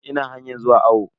Ina hanyan zuwa awo.